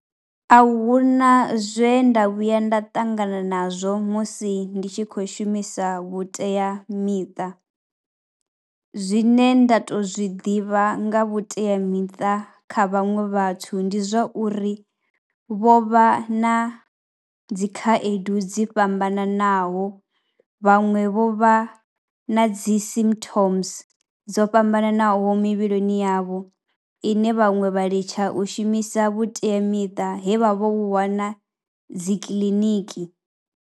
A hu na zwe nda vhuya nda ṱangana nazwo musi ndi tshi khou shumisa vhuteamiṱa, zwine nda tou zwiḓivha nga vhuteamiṱa kha vhaṅwe vhathu ndi zwa uri vho vha na dzi khaedu dzi fhambananaho. Vhaṅwe vho vha na dzi symptoms dzo fhambananaho mivhilini yavho ine vhaṅwe vha litsha u shumisa vhuteamiṱa he vha vho vhu wana dzi kiḽiniki.